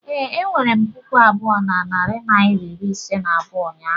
ee, enwere m puku abụọ na narị naịra iri ise na abụọ ụnyaahụ